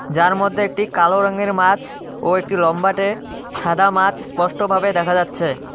যার মধ্যে একটি কালো রঙ্গের মাছ ও একটি লম্বাটে সাদা মাছ স্পষ্ট ভাবে দেখা যাচ্ছে।